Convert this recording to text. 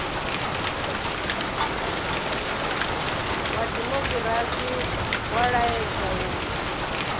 wa dimokirasi wa laedza u